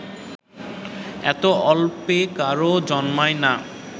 এত অল্পে কারও জন্মায় না